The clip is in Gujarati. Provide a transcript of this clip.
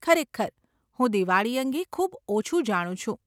ખરેખર, હું દિવાળી અંગે ખૂબ ઓછું જાણું છું.